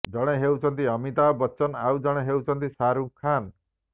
ଜଣେ ହେଉଛନ୍ତି ଅମିତାଭ୍ ବଚ୍ଚନ ଆଉ ଜଣେ ହେଉଛନ୍ତି ଶାହାରୁଖ୍ ଖାନ୍